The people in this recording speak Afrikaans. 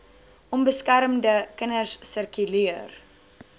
onbeskermde kinders sirkuleer